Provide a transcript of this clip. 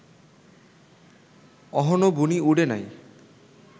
অহনো বুনি উডে নাই